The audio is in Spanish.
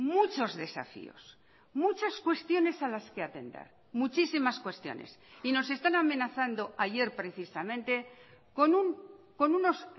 muchos desafíos muchas cuestiones a las que atender muchísimas cuestiones y nos están amenazando ayer precisamente con unos